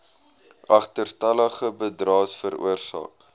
agterstallige bydraes veroorsaak